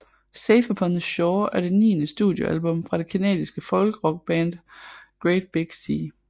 Safe Upon the Shore er det niende studiealbum fra det canadiske folkrockband Great Big Sea